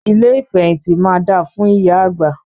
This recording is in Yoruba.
Ilé ìfẹ̀hìntì máa da fún ìyá àgbà.